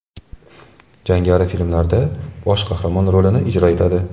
Jangari filmlarda bosh qahramon rolini ijro etadi.